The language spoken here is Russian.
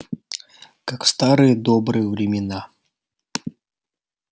как в старые добрые времена